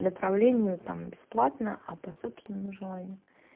направление вот там бесплатно а по собственному желанию